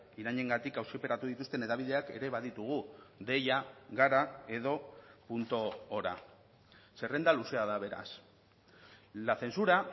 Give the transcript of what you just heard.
irainengatik auziperatu dituzten hedabideak ere baditugu deia gara edo punto hora zerrenda luzea da beraz la censura